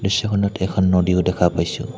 দৃশ্যখনত এখন নদীও দেখা পাইছোঁ।